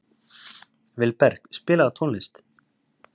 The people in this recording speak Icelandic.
Vilberg, spilaðu tónlist.